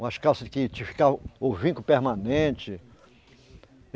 Umas calças que o vinco permanente.